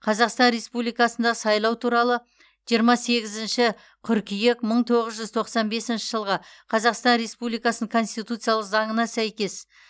қазақстан республикасындағы сайлау туралы жиырма сегізінші қыркүйек мың тоғыз жүз тоқсан бесінші жылғы қазақстан республикасының конституциялық заңына сәйкес